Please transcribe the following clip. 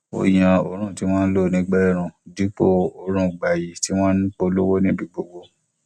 ó yan òórùn tí wọn ń lò nígbà ẹẹrùn dípò òórùn gbayì tí wọn ń polówó níbi gbogbo